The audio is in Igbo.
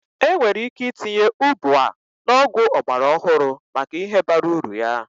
Enwere ike itinye ubwa na ọgwụ ọgbara ọhụrụ maka ihe bara uru ya.